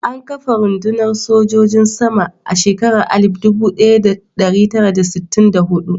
An kafa rundunar sojin sama a shekarar 1964.